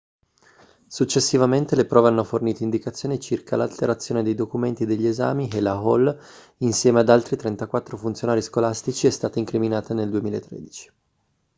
successivamente le prove hanno fornito indicazioni circa l'alterazione dei documenti degli esami e la hall insieme ad altri 34 funzionari scolastici è stata incriminata nel 2013